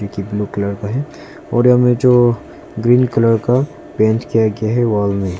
की blue colour का है और यहां मे जो ग्रीन कलर का पेंट किया गया है वॉल में।